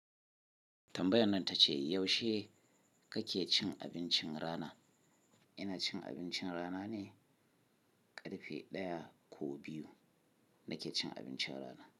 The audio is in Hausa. Tambayan nan ta ce, yaushe kake cin abincin rana? Ina cin abincin rana ne ƙarfe ɗaya ko biyu nake cin abincin rana.